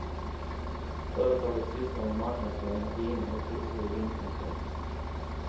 Företaget sysslar med marknadsföring av viner och kurser i vinkunskap.